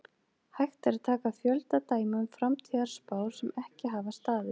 Hægt er að taka fjölda dæma um framtíðarspár sem ekki hafa staðist.